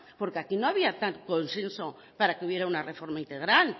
porque aquí no había tal consenso para que hubiera una reforma integral